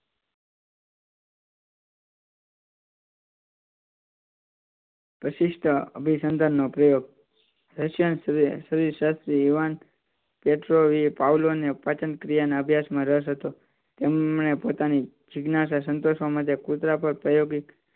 અભિસંધાનનો પ્રયોગ પાચન ક્રિયા ના અભ્યાસ માં રસ હતો તેમણે પોતાની જિજ્ઞાસા સંતોષવા માટે કુતરા પર પ્રાયોગિક